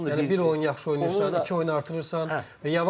Əgər bir oyun yaxşı oynayırsansa, iki oyunu artırırsan, yavaş-yavaş.